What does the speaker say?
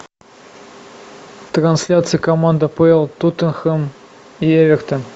трансляция команд апл тоттенхэм и эвертон